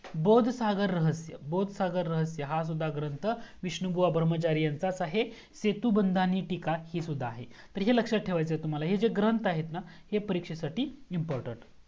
बौद्ध सागर रहस्य बौद्ध सागर रहस्य हा सुद्धा ग्रंथ विष्णु बुआ धर्माचारी यांचाच आहे सेतुबंध टीका हे सुद्धा आहे तर हे लक्ष्यात ठेवायचा आहे तुम्हाला तर हे जे ग्रंथ आहेत ना हे परीक्षेसाठी important